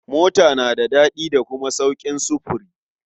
Mota tana da daɗi da kuma sauƙin sufuri.